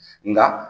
Nka